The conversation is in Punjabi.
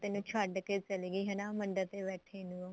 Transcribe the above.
ਤੈਨੂੰ ਛੱਡ ਕੇ ਚਲੀ ਗਈ ਹਨਾ ਮੰਡਪ ਚ ਬੈਠੀ ਨੂੰ